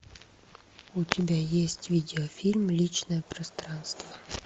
у тебя есть видеофильм личное пространство